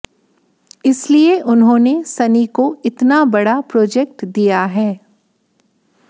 इसलिए उन्होंने सनी को इतना बड़ा प्रोजेक्ट दिया है